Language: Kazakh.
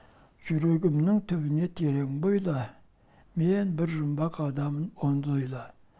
жүрегімнің түбіне терең бойла мен бір жұмбақ адаммын оны да ойла